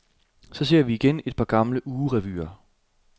Så ser vi igen et par gamle ugerevyer.